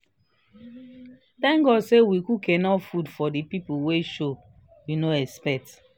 thank god say we cook enough food for the people wey show we no expect